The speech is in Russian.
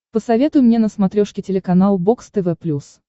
посоветуй мне на смотрешке телеканал бокс тв плюс